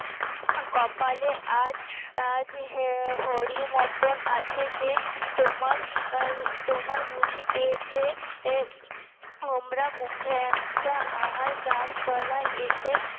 কপালে আজ আজ উহ হরি motton আছে যে তোমার হম তোমার বুঝি পেয়েছে হোমরা মুখে একটা আহার গাছতলা এসে